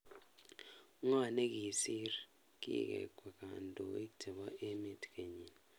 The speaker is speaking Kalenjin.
Ngo negisiir kigekwee kandoinik chebo emet kenyini